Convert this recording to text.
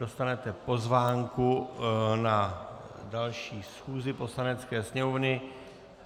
Dostanete pozvánku na další schůzi Poslanecké sněmovny.